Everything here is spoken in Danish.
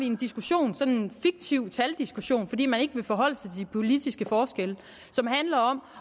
en diskussion sådan en fiktiv taldiskussion fordi man ikke vil forholde sig til de politiske forskelle som handler om